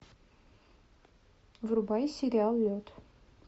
врубай сериал лед